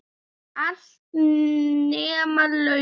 Allt, nema launin.